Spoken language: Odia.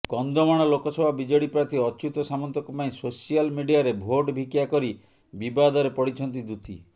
କନ୍ଧମାଳ ଲୋକସଭା ବିଜେଡି ପ୍ରାର୍ଥୀ ଅଚ୍ୟୁତ ସାମନ୍ତଙ୍କ ପାଇଁ ସୋସିଆଲ୍ ମିଡିଆରେ ଭୋଟ୍ ଭିକ୍ଷାକରି ବିବାଦରେ ପଡିଛନ୍ତି ଦୂତି